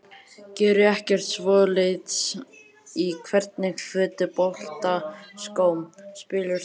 Geri ekki svoleiðis Í hvernig fótboltaskóm spilar þú?